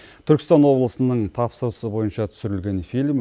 түркістан облысының тапсырысы бойынша түсірілген фильм